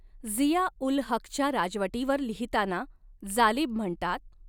झिया उल हक़च्या राजवटीवर लिहिताना जालिब म्हणतात